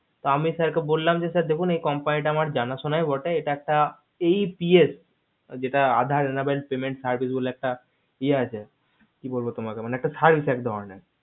তা আমি sir কে বলাম যে sir দেখুন company তা আমার জানা সোনাই বটে এটা একটা hps যেটা aadhar নামে বলে একটা ইয়া আছে আসে কি বলবো তোমাকে একটা service একধরণের